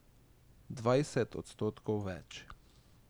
Dvajset odstotkov več.